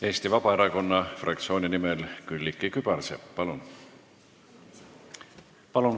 Eesti Vabaerakonna fraktsiooni nimel Külliki Kübarsepp, palun!